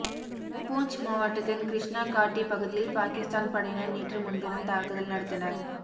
பூஞ்ச் மாவட்டத்தின் கிருஷ்ணா காட்டி பகுதியில் பாகிஸ்தான் படையினர் நேற்று முன்தினம் தாக்குதல் நடத்தினர்